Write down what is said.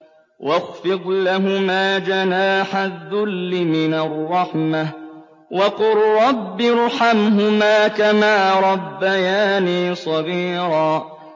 وَاخْفِضْ لَهُمَا جَنَاحَ الذُّلِّ مِنَ الرَّحْمَةِ وَقُل رَّبِّ ارْحَمْهُمَا كَمَا رَبَّيَانِي صَغِيرًا